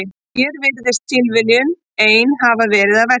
Hér virðist tilviljunin ein hafa verið að verki.